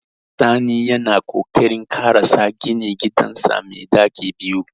Sani yana kokarin ƙarasa ginin gidansa mai ɗaki biyu.